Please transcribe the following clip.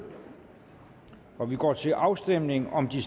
og vi går til afstemning om de